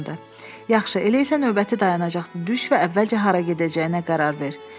Yaxşı, elə isə növbəti dayanacaqda düş və əvvəlcə hara gedəcəyinə qərar ver.